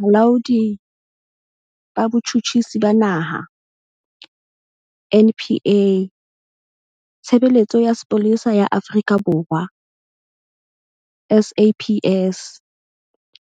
Bolaodi ba Botjhutjhisi ba Naha, NPA, Tshebeletso ya Sepolesa ya Afrika Borwa, SAPS,